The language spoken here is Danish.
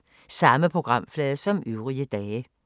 Samme programflade som øvrige dage